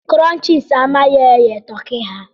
Crunchies amaghị eghe Turkey ha